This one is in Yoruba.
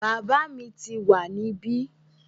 Bàbá mi tíì wá níbí